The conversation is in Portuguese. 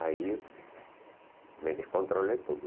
Aí me descontrolei todo.